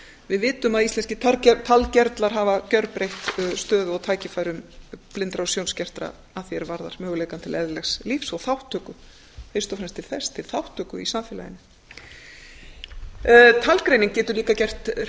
við vitum að íslenskir talgervlar hafa gjörbreytt stöðu og tækifærum blindra og sjónskertra að því er varðar möguleikann til eðlilegs lífs og þátttöku fyrst og fremst til þess til þátttöku í samfélaginu talgreining getur líka gert